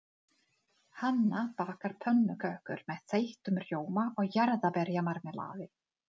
Hanna bakar pönnukökur með þeyttum rjóma og jarðarberjamarmelaði.